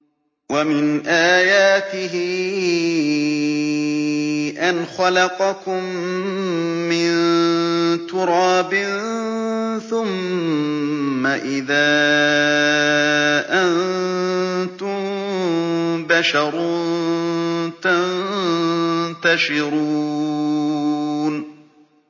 وَمِنْ آيَاتِهِ أَنْ خَلَقَكُم مِّن تُرَابٍ ثُمَّ إِذَا أَنتُم بَشَرٌ تَنتَشِرُونَ